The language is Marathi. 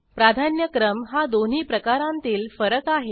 प्राधान्यक्रम हा दोन्ही प्रकारांतील फरक आहे